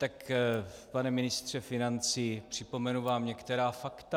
Tak pane ministře financí, připomenu vám některá fakta.